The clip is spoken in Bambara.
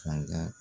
Fanga